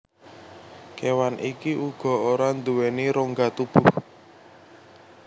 Kewan iki uga ora nduweni rongga tubuh